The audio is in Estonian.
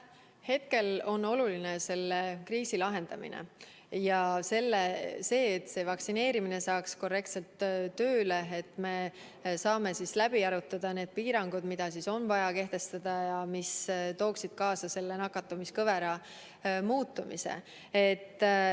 Hetkel on oluline selle kriisi lahendamine ning see, et vaktsineerimine saaks korrektselt tööle ja me saaksime läbi arutada need piirangud, mida on vaja kehtestada ja mis tooksid kaasa nakatumiskõvera muutumise.